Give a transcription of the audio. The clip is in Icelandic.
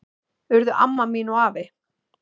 Urðu amma mín og afi.